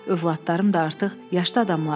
Övladlarım da artıq yaşlı adamlardır.